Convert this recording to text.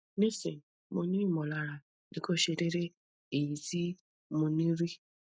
nisin mo ni imolara nikose dede eyi ti mo ni ri